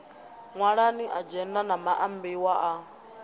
ṅwalani adzhenda na maambiwa a